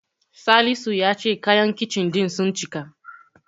Salisu ya ce kayan Kicin ɗin sun cika.